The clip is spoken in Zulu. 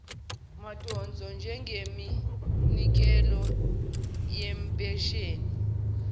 madonso njengeminikelo yempesheni